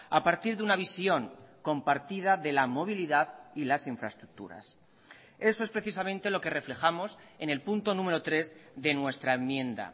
a partir de una visión compartida de la movilidad y las infraestructuras eso es precisamente lo que reflejamos en el punto número tres de nuestra enmienda